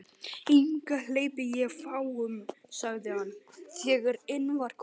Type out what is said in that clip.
Hingað hleypi ég fáum sagði hann, þegar inn var komið.